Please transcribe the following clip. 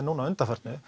undanfarið